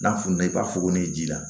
N'a fununa i b'a fɔ ko n'i ji la